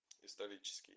исторический